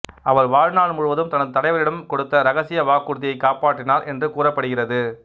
அவர் வாழ் நாள் முழுவதும் தனது தலைவரிடம் கொடுத்த இரகசிய வாக்குறுதியைக் காப்பாற்றினார் என்று கூறப்படுகிறது